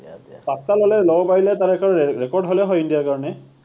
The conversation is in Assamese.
পাঁচটা ললে লব পাৰিলে তাৰ এটা ৰে record হলে হয় India ৰ কাৰণে